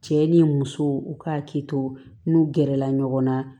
Cɛ ni muso u ka hakili to n'u gɛrɛla ɲɔgɔn na